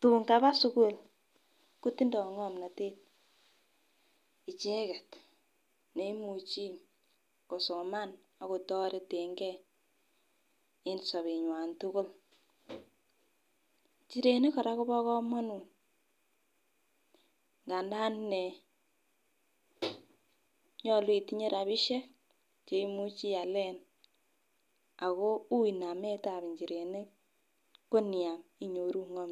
tun kaba sukul kotindo ngomnotet icheket neimuchi kosoman ak kotoreten gee en sobenywan tuukul. Inchirenik Koraa Kobo komonut nganda inee nyolu itinye rabishek cheimuchi ialen ako ui nametab inchirenik ko niam. Inyoru ngomnotet.